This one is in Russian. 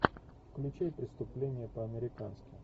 включи преступление по американски